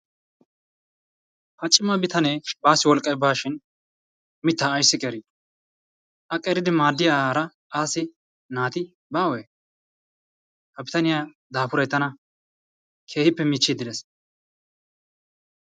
Ha cima bitanee baasi wolqi baashin mittaa ayssi qeeri? A qeriddi maadiya asi naati bawee? Ha bitaniyaa daafuray tanna keehippe michchid dees.